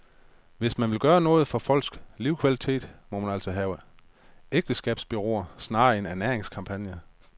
Hvis man vil gøre noget for folks livskvalitet, må man altså lave ægteskabsbureauer, snarere end ernæringskampagner.